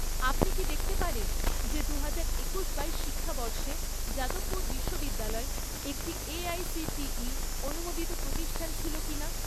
আপনি কি দেখতে পারেন যে দুহাজার একুশ বাইশ শিক্ষাবর্ষে যাদবপুর বিশ্ববিদ্যালয় একটি এআইসিটিই অনুমোদিত প্রতিষ্ঠান ছিল কিনা?